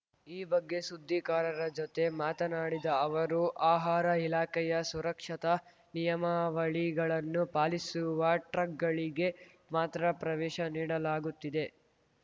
ಈ ಬಗ್ಗೆ ಸುದ್ದಿಗಾರರ ಜೊತೆ ಮಾತನಾಡಿದ ಅವರು ಆಹಾರ ಇಲಾಖೆಯ ಸುರಕ್ಷತಾ ನಿಯಮಾವಳಿಗಳನ್ನು ಪಾಲಿಸುವ ಟ್ರಕ್‌ಗಳಿಗೆ ಮಾತ್ರ ಪ್ರವೇಶ ನೀಡಲಾಗುತ್ತಿದೆ